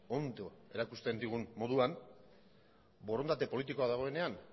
ondo erakusten digun moduan borondate politikoa dagoenean